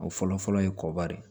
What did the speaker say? O fɔlɔfɔlɔ ye kɔba de